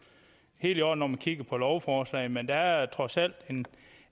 helt i orden når man kigger på lovforslaget men der er trods alt